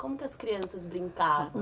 Como as crianças brincavam?